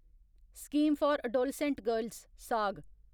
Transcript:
scheme for adolescent girls साग